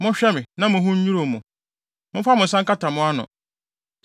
Monhwɛ me, na mo ho nnwiriw mo; momfa mo nsa nkata mo ano.